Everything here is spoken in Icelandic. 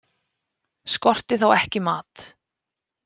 Skorti þá ekki mat.